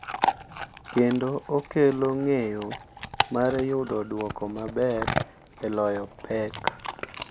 Kendo okelo ng’eyo mar yudo duoko maber e loyo pek.